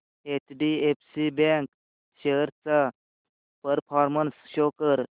HDFC bank shares चा performance show कर